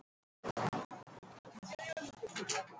Farðu til hans, Steini, og talaðu við hann!